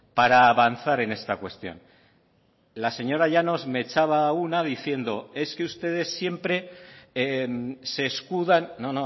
para avanzar en esta cuestión la señora llanos me echaba una diciendo es que ustedes siempre se escudan no